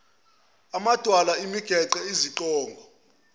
amadwala imigede iziqongo